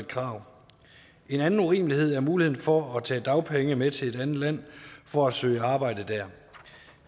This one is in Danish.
krav en anden urimelighed er muligheden for at tage dagpenge med til et andet land for at søge arbejde der